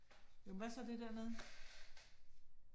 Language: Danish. Jo men hvad så det der nede?